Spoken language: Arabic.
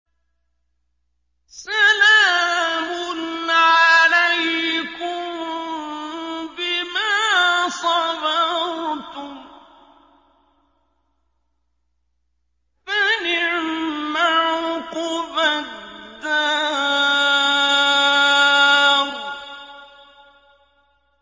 سَلَامٌ عَلَيْكُم بِمَا صَبَرْتُمْ ۚ فَنِعْمَ عُقْبَى الدَّارِ